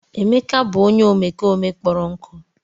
Emeka bụ onye omekome kpọrọ nkụ.